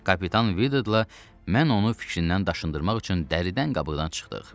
Kapitan Vide ilə mən onu fikrindən daşındırmaq üçün dəridən qabıqdan çıxdıq.